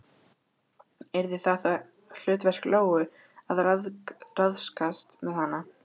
Yrði það þá hlutverk Lóu að ráðskast með hana?